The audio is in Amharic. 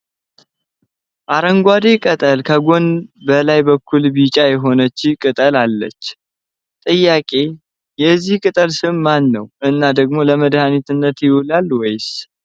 አረንጓዴ ቅጠል ከጎን በላይ በኩል ቢጫ የሆነች ቅጠል አለች ፤ ጥያቄ የዚህ ቅጠል ስሙ ማነው እና ደግሞ ለመድኃኒትነት ይውላል ወይስ?..